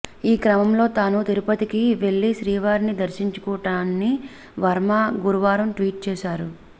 ఈ క్రమంలో తాను తిరుపతికి వెళ్లి శ్రీవారిని దర్శించుకుంటానని వర్మ గురువారం ట్విట్ చేశారు